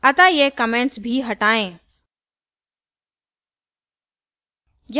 अतः ये comment भी हटाएँ